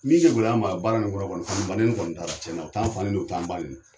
Min ye tugulama a baara ni kɔnɔ kɔni, fa ni ba nɛni kɔni t'a la, ciɲɛna u t'a fa nɛni o t'a ba nɛni.